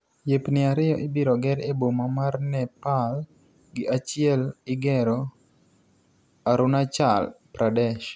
Yepni ariyo ibiro ger e boma mar Nepal gi achiel igero Arunachal Pradesh.